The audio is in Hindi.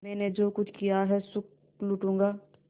मैंने जो कुछ किया है सुख लूटूँगा